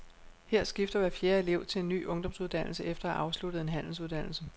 Her skifter hver fjerde elev til en ny ungdomsuddannelse efter at have afsluttet en handelsuddannelse.